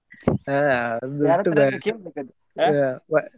ಹಾ .